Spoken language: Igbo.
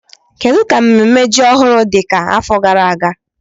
Kedu ka mmemme ji ọhụrụ dị ka afọ gara aga?